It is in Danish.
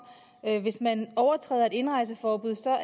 at et hvis man overtræder et indrejseforbud